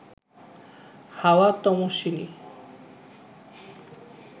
হাওয়া তমস্বিনী